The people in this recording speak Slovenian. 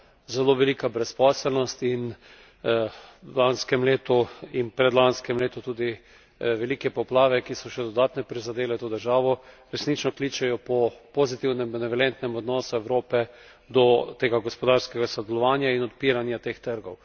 Zelo velika brezposelnost in v lanskem letu in predlanskem letu tudi velike poplave, ki so še dodatno prizadele to državo, resnično pričajo po pozitivnem, benevolentnem odnosu Evrope do tega gospodarskega sodelovanja in odpiranja teh trgov.